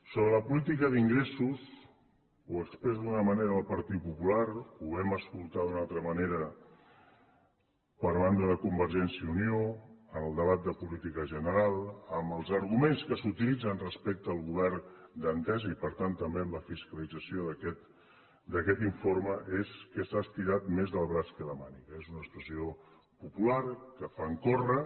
sobre la política d’ingressos ho expressa d’una manera el partit popular ho vam escoltar d’una altra manera per banda de convergència i unió en el debat de política general amb els arguments que s’utilitzen respecte al govern d’entesa i per tant també amb la fiscalització d’aquest informe és que s’ha estirat més el braç que la màniga és una expressió popular que fan córrer